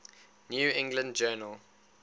new england journal